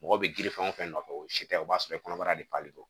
Mɔgɔ bɛ girin fɛn o fɛn nɔfɛ o si tɛ o b'a sɔrɔ i kɔnɔbara de don